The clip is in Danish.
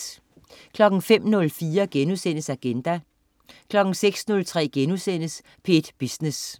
05.04 Agenda* 06.03 P1 Business*